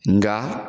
Nka